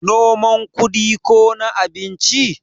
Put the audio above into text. noman kudi ko na abinci?